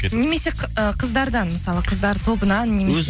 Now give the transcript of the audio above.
немесе қыздардан мысалы қыздар тобынан немесе